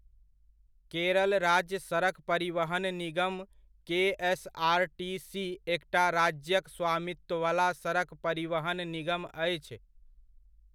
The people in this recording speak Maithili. केरल राज्य सड़क परिवहन निगम केएसआरटीसी एकटा राज्यक स्वामित्ववला सड़क परिवहन निगम अछि।